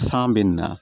San bɛ na